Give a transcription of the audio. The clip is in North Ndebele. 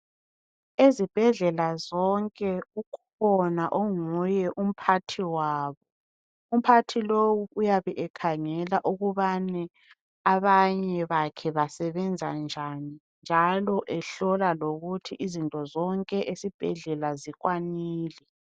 Ezibhedlela zonke ukhona onguye umphathi wabo ,umphathi lowu uyabe ekhangela ukubani abanye bakhe basebenza njani ,njalo ehlola lokuthi izinto zonke esibhedlela zikwanile.